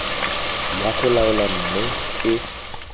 wa go laola mme e